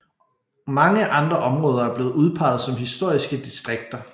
Mange andre områder er blevet udpeget som historiske distrikter